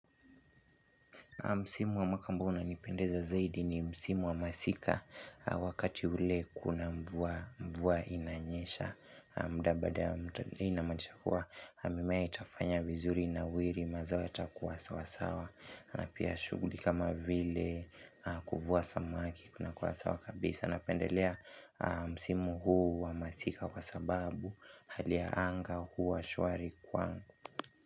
Msimu wa makambu unanipendeza zaidi ni Msimu wa masika wakati ule kuna mvua mvua inanyesha. Muda badaa inamanisha hua. Mimea itafanya vizuri inawiri mazao yatakuwa sawasawa. Anapea shughuli kama vile kuvuwa samaki kuna kuwa sawa kabisa. Napendelea Msimu huu wa masika kwa sababu halia ya anga hua shwari kwangu.